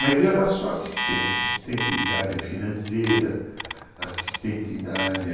Mas eu era só assistente, assistente da área financeira, assistente da área...